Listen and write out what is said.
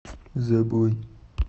забой